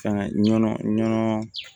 Ka nɔnɔ nɔnɔ